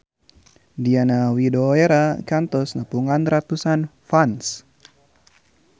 Diana Widoera kantos nepungan ratusan fans